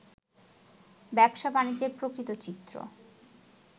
ব্যবসা-বাণিজ্যের প্রকৃত চিত্র